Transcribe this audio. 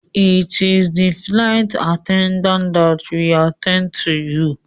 It is the flight attendant that will attend to you.